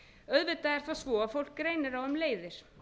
auðvitað er það svo að fólk greinir á um leiðir